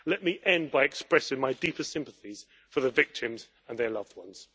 Let me end by expressing my deepest sympathies for the victims and their loved ones.